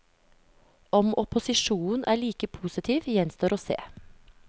Om opposisjonen er like positiv gjenstår å se.